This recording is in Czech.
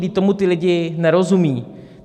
Vždyť tomu ti lidé nerozumí.